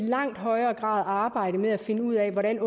langt højere grad arbejde med at finde ud af hvordan